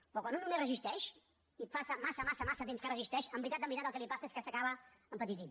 però quan un només resisteix i passa massa massa massa temps que resisteix en veritat en veritat el que li passa és que s’acaba empetitint